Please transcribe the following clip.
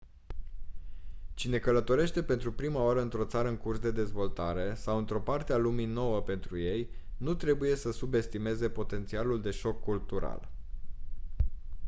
cine călătorește pentru prima oară într-o țară în curs de dezvoltare sau într-o parte a lumii nouă pentru ei nu trebuie să subestimeze potențialul de șoc cultural